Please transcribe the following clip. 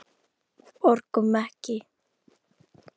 Borgum Ekki!